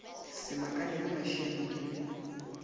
se makale ge mašianoke le